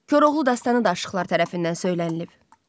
Koroğlu dastanı da aşıqlar tərəfindən söylənilib.